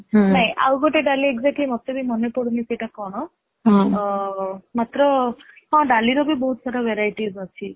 ନାଇ ଆଉ ଗୋଟେ ଡାଲି exactly ମତେ ବି ମନେ ପଡୁନି ସେଟା କଣ ମାତ୍ର ହଁ ଡାଲି ର ବି ବହୁତ ପ୍ରକାର verities ଅଛି |